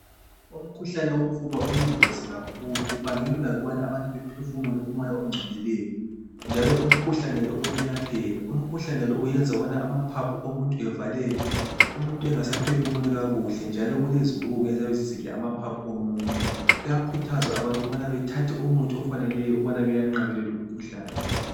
Umkhuhlane wofuba uyingozi kakhulu kubangelwa yikubana abantu bephefumule umoya ogcolileyo njalo umkhuhlane lo uyelapheka. Umkhuhlane lo ukubana amaphaphu omuntu evaleke umuntu engasaphefumuli kakuhle njalo kulezibungu eziyabe zisidla amaphaphu omuntu kuyakhuthazwa abantu ukubana bathathe umuthi bewunqabele umkhuhlane